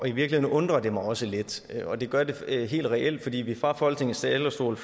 i virkeligheden undrer det mig også lidt og det gør det helt reelt fordi vi fra folketingets talerstol